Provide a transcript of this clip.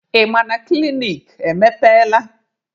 Ị ma na klinik emepeela?